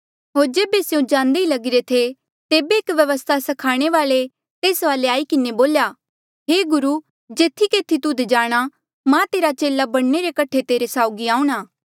होर जेबे स्यों जांदे ही लगिरे थे तेबे एक व्यवस्था स्खाणे वाल्ऐ तेस वाले आई किन्हें बोल्या हे गुरु जेथी केथी तुध जाणा मां तेरा चेले बणने रे कठे तेरे साउगी आऊंणा